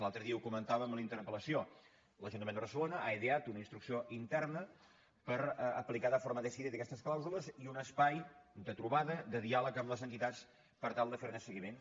l’altre dia ho comentàvem en la interpel·lació l’ajuntament de barcelona ha ideat una instrucció interna per aplicar de forma decidida aquestes clàusules i un espai de trobada de diàleg amb les entitats per tal de fer ne el seguiment